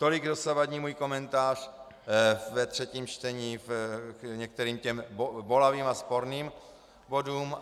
Tolik dosavadní můj komentář ve třetím čtení k některým těm bolavým a sporným bodům.